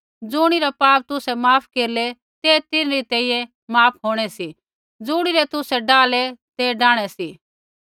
ज़ुणिरै पाप तुसै माफ केरलै तै तिन्हरी तैंईंयैं माफ होंणै सी ज़ुणिरै तुसै डाहलै तै डाहणै सी